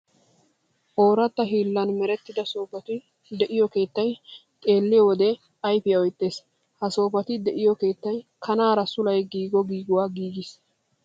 Ooratta hiillan merettida soofati de'iya keettaa xeelliyo wode ayfiya oyttees. Ha soofati de'iyo keettay kanaara sulay giigiyogaa mala suure giigees.